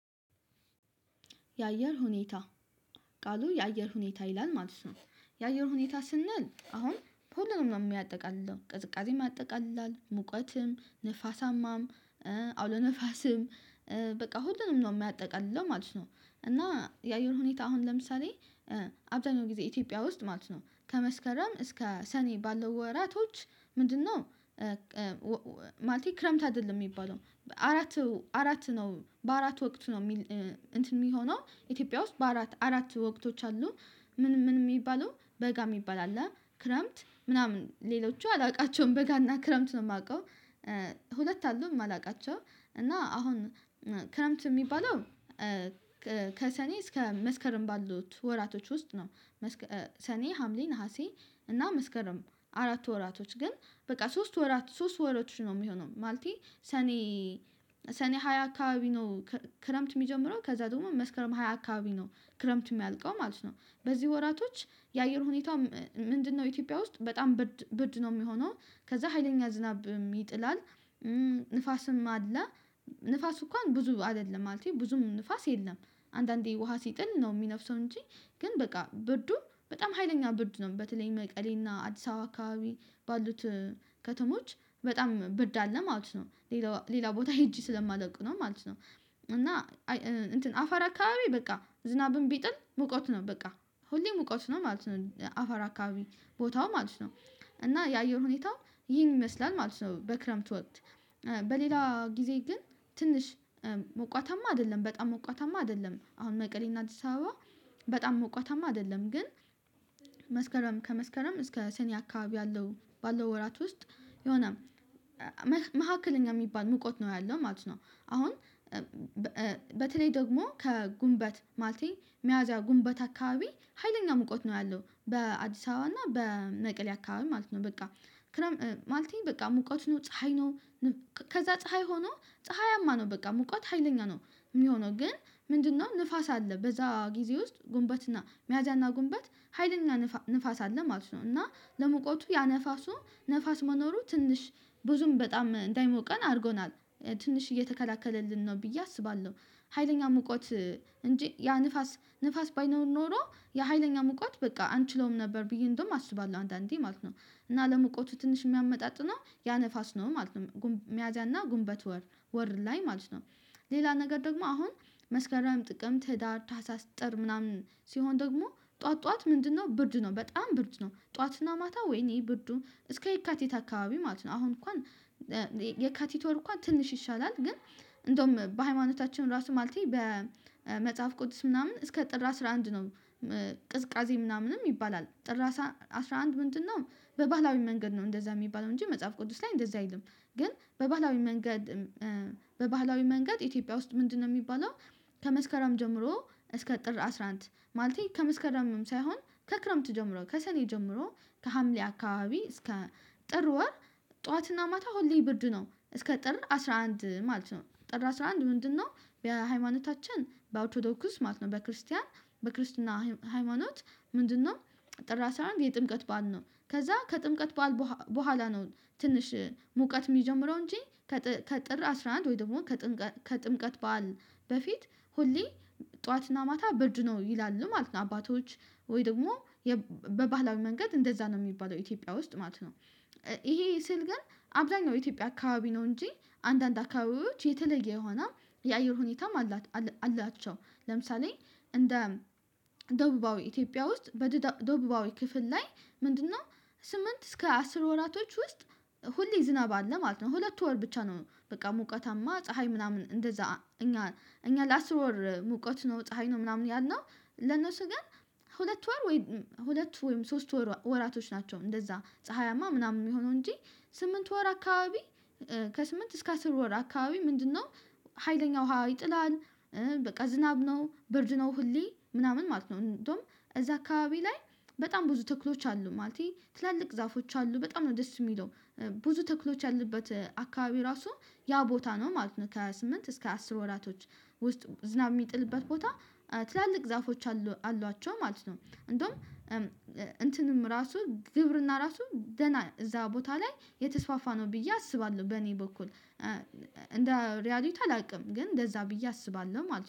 የአየር ሁኔታ ቃሉ የአየር ሁኔታ ይላል ማለት ነው። የአየር ሁኔታ ስንል አሁን በሁሉም ነው የሚያጠቃልለው ቅዝቃዜ አጠቃላይ ሙቀትም ንፋሳማም አውሎ ነፋስም በቃ ሁሉንም ነው የሚያጠቃልለው ማለት ነው። እና የአየር ሁኔታ አሁን ለምሳሌ አብዛኛው ጊዜ ኢትዮጵያ ውስጥ ማለት ነው ከመስከረም እስከ ሰኔ ባለው ወራቶች ምንድነው? ማለቴ ክረምት አይደለም የሚባለው አራቱ አራት ነው በአራት ወቅት ነው የሚል እንትን የሚሆነው ኢትዮጵያ ውስጥ በአራት አራት ወቅቶች አሉ። ምን ምን የሚባሉ በጋ የሚባል አለ ክረምት ምናምን ሌሎቹ አላውቃቸውም በጋና ክረምት ነው የማውቀው። ሁለት አሉ የማላውቃቸው እና አሁን ክረምት የሚባለው ከሰኔ እስከ መስከረም ባሉት ወራቶች ውስጥ ነው። ሰኔ ሀምሌ ነሀሴ እና መስከረም አራት ወራቶች ግን በቃ ሶስት ወራት ሶስት ወሮች ነው የሚሆነው። ማለት ሰኔ ሰኔ ሃያ አካባቢ ነው ክረምት የሚጀምረው ከዛ ደግሞ መስከረም ሃያ አካባቢ ነው ክረምት የሚያልቀው ማለት ነው። በዚህ ወራቶች የአየር ሁኔታ ምንድነው ኢትዮጵያ ውስጥ በጣም ብርድ ነው የሚሆነው። ከዛ ሀይለኛ ዝናብ ይጥላል። ንፋስም አለ ንፋሱ እንኳን ብዙ አይደለም ማለቴ ብዙም ንፋስ የለም። አንዳንዴ ውሃ ሲጥል ነው የሚነፍሰው እንጂ። ግን በቃ ብርዱ በጣም ሀይለኛ ብርድ ነው በተለይ መቀሌና አዲስ አበባ አካባቢ ባሉት ከተሞች በጣም ብርድ አለ ማለት ነው። ሌላ ቦታ ሄጄ ስለማወቅ ነው ማለት ነው። እና አፈር አካባቢ በቃ ዝናብም ቢጥል ሙቀት ነው በቃ ሁሌም ሙቀት ነው ማለት ነው። አፈር አካባቢ ቦታው ማለት ነው እና የአየር ሁኔታ ይህን ይመስላል ማለት ነው። በክረምት ወቅት። በሌላ ጊዜ ግን ትንሽ ሞቃታማ አይደለም በጣም ሞቃታማ አይደለም። አሁን መቀሌና አዲስ አበባ በጣም ሞቃታማ አይደለም ግን። መስከረም ከመስከረም እስከ ሰኔ አካባቢ ያለው ባለው ወራት ውስጥ የሆነ መካከለኛ የሚባል ሙቀት ነው ያለው ማለት ነው። አሁን በተለይ ደግሞ ከጉንበት ማለቴ መያዝያ ጉንበት አካባቢ ሀይለኛ ሙቀት ነው ያለው በአዲስ አበባ እና በመቀሌ አካባቢ ማለት ነው በቃ ማለቴ በቃ ሙቀት ነው ፀሀይ ነው። ከዛ ፀሀይ ሆኖ ፀሀያማ ነው በቃ ሙቀት ሀይለኛ ነው። የሚሆነው ግን ምንድነው ንፋስ አለ በዛ ጊዜ ውስጥ። መያዝያና ጉንበት ሀይለኛ ንፋስ አለ ማለት ነው። እና ለሙቀቱ ያ ንፋሱ ንፋስ መኖሩ ትንሽ ብዙም በጣም እንዳይሞቀን አድርጎናል። ትንሽ እየተከላከለልን ነው ብዬ አስባለሁ። ሀይለኛ ሙቀት እንጂ ያ ንፋስ ባይኖር ኖሮ የሀይለኛ ሙቃት በቃ አንችለውም ነበር ብዬ እንዲሁም አስባለሁ አንዳንዴ ማለት ነው። እና ለመቆቱ ትንሽ የሚያመጣጥነው ያ ንፋስ ነው ማለት ነው። ሚያዝያና ጉንበት ወር ላይ ማለት ነው። ሌላ ነገር ደግሞ አሁን መስከረም ጥቅምት ህዳር ታህሳስ ጥር ምናምን ሲሆን ደግሞ ጠዋት ጠዋት ምንድነው ብርድ ነው በጣም ብርድ ነው። ጠዋትና ማታ ወይኔ ብርዱ እስከ የካቲት አካባቢ ማለት ነው። አሁን እንኳን የካቲት ወር እንኳን ትንሽ ይሻላል ግን። እንዲሁም በሃይማኖታችን ራሱ ማለቴ በመጽሐፍ ቅዱስ ምናምን እስከ ጥር አስራ አንድ ነው። ቅዝቃዜ ምናምንም ይባላል ጥር አስራ አንድ ምንድነው? በባህላዊ መንገድ ነው እንደዛ የሚባለው እንጂ መጽሐፍ ቅዱስ ላይ እንደዛ አይልም። ግን በባህላዊ መንገድ በባህላዊ መንገድ ኢትዮጵያ ውስጥ ምንድነው የሚባለው? ከመስከረም ጀምሮ እስከ ጥር አስራ አንድ ማለቴ ከመስከረምም ሳይሆን ከክረምት ጀምሮ ከሰኔ ጀምሮ ከሀምሌ አካባቢ እስከ ጥር ወር። ጠዋትና ማታ ሁሌ ብርድ ነው እስከ ጥር አስራ አንድ ማለት ነው። ጥር አስራ አንድ ምንድነው? በሃይማኖታችን በኦርቶዶክስ ማለት ነው በክርስቲያን በክርስትና ሃይማኖት ምንድነው? ጥር አስራ አንድ የጥምቀት በዓል ነው ከዛ ከጥምቀት በዓል በኋላ ነው ትንሽ ሙቀት የሚጀምረው እንጂ። ከጥር አስራ አንድ ወይም ደግሞ ከጥምቀት በዓል በፊት ሁሌ ጠዋትና ማታ ብርድ ነው ይላሉ ማለት ነው። አባቶች ወይ ደግሞ በባህላዊ መንገድ እንደዛ ነው የሚባለው ኢትዮጵያ ውስጥ ማለት ነው። ይሄ ስል ግን አብዛኛው ኢትዮጵያ አካባቢ ነው እንጂ አንዳንድ አካባቢዎች የተለየ የሆነ የአየር ሁኔታም አላቸው። ለምሳሌ እንደ ደቡባዊ ኢትዮጵያ ውስጥ በደቡባዊ ክፍል ላይ ምንድነው? ስምንት እስከ አስር ወራቶች ውስጥ ሁሌ ዝናብ አለ ማለት ነው። ሁለት ወር ብቻ ነው በቃ ሙቀታማ ፀሀይ ምናምን እንደዛ። እኛ ለአስር ወር ሙቀት ነው ፀሀይ ነው ምናምን ያልነው። ለነሱ ግን ሁለት ወይም ሶስት ወራቶች ናቸው እንደዛ ፀሀያማ ምናምን የሚሆነው እንጂ። ስምንት ወር አካባቢ ከስምንት እስከ አስር ወር አካባቢ ምንድነው ሀይለኛ ውሃ ይጥላል። በቃ ዝናብ ነው ብርድ ነው ሁሌ ምናምን ማለት ነው። እንዲሁም እዛ አካባቢ ላይ በጣም ብዙ ተክሎች አሉ ማለቴ ትላልቅ ዛፎች አሉ በጣም ነው ደስ የሚለው። ብዙ ተክሎች ያሉበት አካባቢ ራሱ ያ ቦታ ነው ማለት ነው። ከስምንት እስከ አስር ወራቶች ውስጥ ዝናብ የሚጥልበት ቦታ ትላልቅ ዛፎች አሏቸው ማለት ነው። እንዲሁም ግብርና ራሱ ደህና እዛ ቦታ ላይ የተስፋፋ ነው ብዬ አስባለሁ በእኔ በኩል። እንደ ሪያሊቲ አላውቅም ግን እንደዛ ብዬ አስባለሁ ማለት ነው